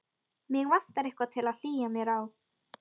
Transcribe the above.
Mig vantar eitthvað til að hlýja mér á.